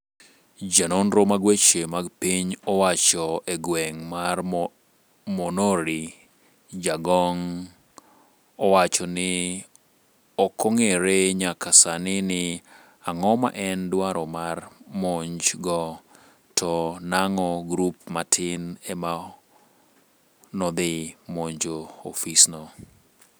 ja nonro mag weche mag piny owacho e gweng' mar monori Jagong owacho ni okong'ere nyaka sani ni ang'o ma en dwaro mar monj go to nang'o grup matin emanodhi monjo ofis no